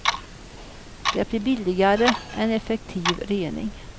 Det blir billigare än effektiv rening.